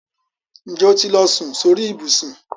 Ǹjẹ́ ó ti lọ sùn sórí ìbùsùn?